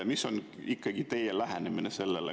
Mis on ikkagi teie lähenemine?